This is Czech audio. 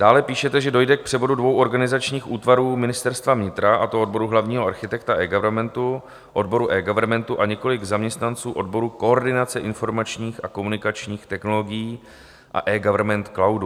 Dále píšete, že "dojde k převodu dvou organizačních útvarů Ministerstva vnitra, a to odboru hlavního architekta eGovernmentu, odboru eGovernmentu a několik zaměstnanců odboru koordinace informačních a komunikačních technologií a eGovernment cloudu".